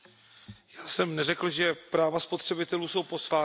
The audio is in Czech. Já jsem neřekl, že práva spotřebitelů jsou posvátná.